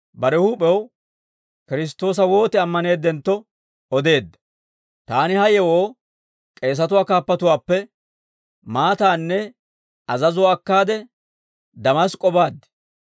«Taani ha yewoo k'eesatuwaa kaappatuwaappe maataanne azazuwaa akkaade Damask'k'o baad.